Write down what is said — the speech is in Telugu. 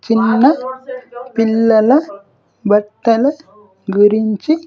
చిన్న పిల్లల బట్టల గురించి.